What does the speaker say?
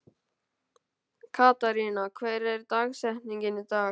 Katharina, hver er dagsetningin í dag?